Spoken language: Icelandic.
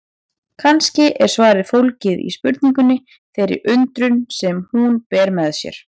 Kannski er svarið fólgið í spurningunni, þeirri undrun sem hún ber með sér.